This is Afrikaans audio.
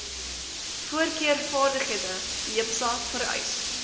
voorkeurvaardighede jipsa vereis